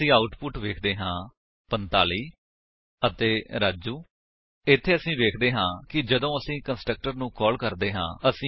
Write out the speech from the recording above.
ਹੁਣ ਅਸੀ ਆਉਟਪੁਟ ਵੇਖਦੇ ਹਾਂ 45 ਅਤੇ ਰਾਜੂ ਇੱਥੇ ਅਸੀ ਵੇਖਦੇ ਹਾਂ ਕਿ ਜਦੋਂ ਅਸੀ ਕੰਸਟਰਕਟਰ ਨੂੰ ਕਾਲ ਕਰਦੇ ਹਾਂ